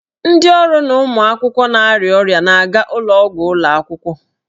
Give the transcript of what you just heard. Ndị ọrụ na ụmụ akwụkwọ na-arịa ọrịa ga-aga ụlọ ọgwụ ụlọ akwụkwọ.